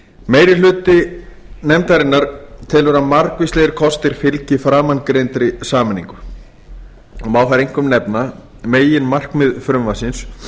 meiri hlutinn telur að margvíslegir kostir fylgi framangreindri sameiningu og má þar einkum nefna meginmarkmið frumvarpsins